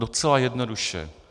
Docela jednoduše.